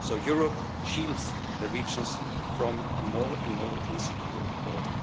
So Europe shields the regions from a more and more insecure